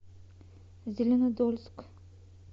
зеленодольск